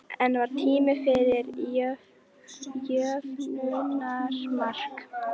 En var tími fyrir jöfnunarmark?